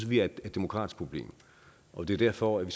vi er et demokratisk problem og det er derfor vi